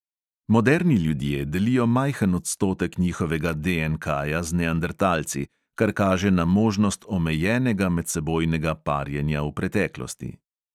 Moderni ljudje delijo majhen odstotek njihovega DNKja z neandertalci, kar kaže na možnost omejenega medsebojnega parjenja v preteklosti.